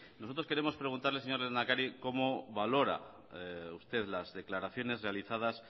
nosotros queremos preguntarle señor lehendakari cómo valora usted las declaraciones realizadas